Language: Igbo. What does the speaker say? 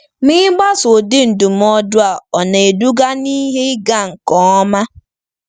Ma ịgbaso ụdị ndụmọdụ a ọ̀ na-eduga ná ihe ịga nke ọma?